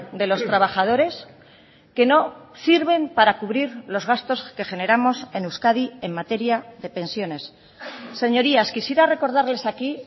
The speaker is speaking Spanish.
de los trabajadores que no sirven para cubrir los gastos que generamos en euskadi en materia de pensiones señorías quisiera recordarles aquí